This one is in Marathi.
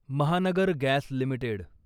Mahanagar gas limited